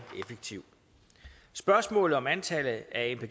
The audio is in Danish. effektiv spørgsmålet om antallet af